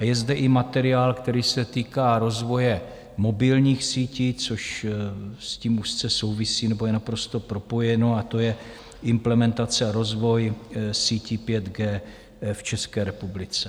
A je zde i materiál, který se týká rozvoje mobilních sítí, což s tím úzce souvisí nebo je naprosto propojeno, a to je implementace a rozvoj sítí 5G v České republice.